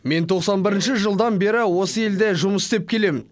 мен тоқсан бірінші жылдан бері осы елде жұмыс істеп келемін